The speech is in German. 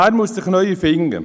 Bern muss sich neu erfinden.